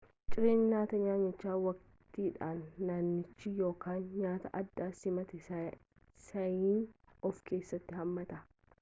cireen nyaata naannichi waqtiidhaanii naannichaa yookaan nyaata addaa simataa saayinii of keessatti hammata